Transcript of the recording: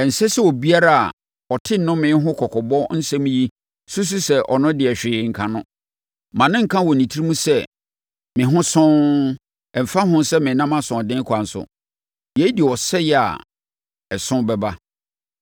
Ɛnsɛ sɛ obiara a ɔte nnome ho kɔkɔbɔ nsɛm yi susu sɛ ɔno deɛ hwee renka no. Mma no nka wɔ ne tirim sɛ, “Me ho sɔnn, ɛmfa ho sɛ menam asoɔden kwan so.” Yei de ɔsɛeɛ a ɛso bɛba.